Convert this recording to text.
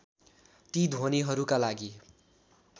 ती ध्वनिहरूका लागि